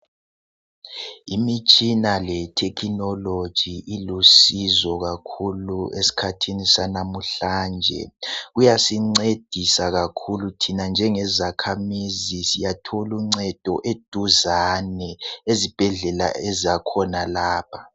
Imitshina lethekhinologi ilusizo kakhulu eskhathini sanamuhlanje. Kuyasincedisa kakhulu thina njengezakhamizi siyatholuncedo eduzane, ezibhedlela ezakhonalapha.